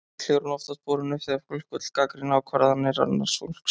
Líklega er hún oftast borin upp þegar fólk vill gagnrýna ákvarðanir annars fólks.